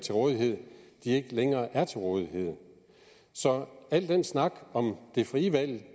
til rådighed ikke længere er til rådighed så al den snak om det frie valg